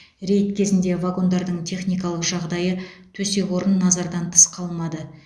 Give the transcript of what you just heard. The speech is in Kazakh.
рейд кезінде вагондардың техникалық жағдайы төсек орын назардан тыс қалмады